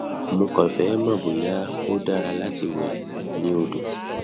mo kàn fẹ mọ bóyá ó dára láti lọ wẹ ni odo